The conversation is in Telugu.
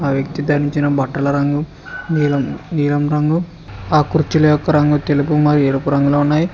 ఆ వ్యక్తి ధరించిన బట్టల రంగు నీలం రంగు ఆ కుర్చీల యొక్క రంగు తెలుపు మరియు ఎరుపు రంగులో ఉన్నాయి.